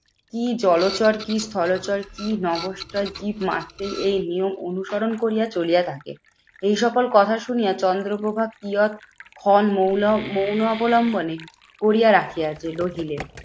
কি জলচর? কি স্থলচর? কি নভোশ্চর? কি এই নিয়ম অনুকরণ করিয়া চলিয়া থাকে। এই সকল কথা শুনিয়া চন্দ্রপ্রভা মৌন মৌন অবলম্বনে কোরিয়া রাখিয়াছে রহিলেন।